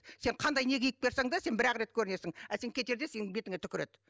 сен қандай не киіп келсең де сен бір ақ рет көрінесің ал сен кетерде сенің бетіңе түкіреді